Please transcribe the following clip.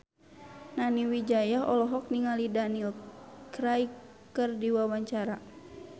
Nani Wijaya olohok ningali Daniel Craig keur diwawancara